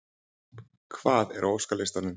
Hvað er á óskalistanum?